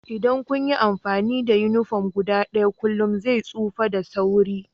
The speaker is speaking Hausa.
Idan kun yi amfani da uniform guda ɗaya kullum zai tsufa da sauri